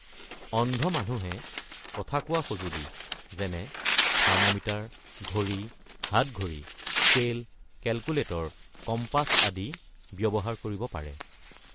অন্ধ মানুহে কথা কোৱা সঁজুলি যেনে থাৰ্মোমিটাৰ, ঘড়ী, হাত ঘড়ী, স্কেল, কেলকুলেটৰ, কম্পাছ আদি ব্যৱহাৰ কৰিব পাৰে।